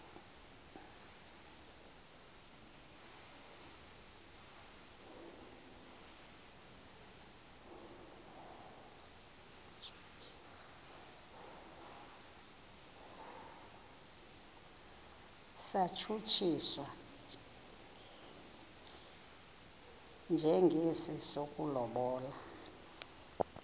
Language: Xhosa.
satshutshiswa njengesi sokulobola